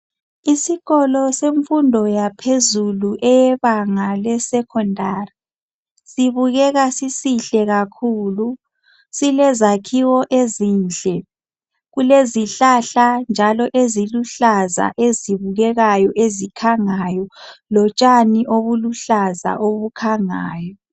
Isikolo semfundo yaphezulu eyebanga lesecondary. Sibukeka sisihle kakhulu , silezakhiwo ezinhle. Kulezihlahla njalo eziluhlaza ezibukekayo ezikhangayo . Lotshani obuluhlaza obukhangayo.